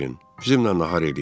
Bizimlə nahar eləyin.